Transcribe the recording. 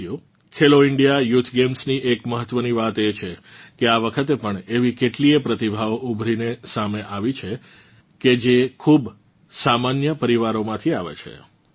સાથીઓ Khelo India youth ગેમ્સની એક મહત્વની વાત એ છે કે આ વખતે પણ એવી કેટલીય પ્રતિભાઓ ઊભરીને સામે આવી છે કે જે ખૂબ સામાન્ય પરિવારોમાંથી આવે છે